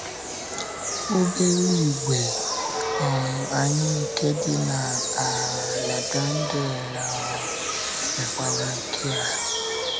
Obere ìgwè um anyị nke dị na um La Grande um mekwara nke a.